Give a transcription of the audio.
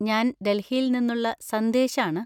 ഞാൻ ഡൽഹിയിൽ നിന്നുള്ള സന്ദേശ് ആണ്.